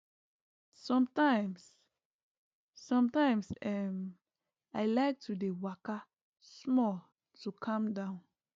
sometimes sometimes um i like to dey waka small to calm down